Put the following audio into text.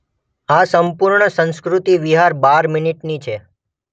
આ સંપૂર્ણ સંસ્કૃતિ વિહાર બાર મિનીટની છે.